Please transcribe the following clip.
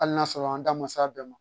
Hali n'a sɔrɔ an da ma se a bɛɛ ma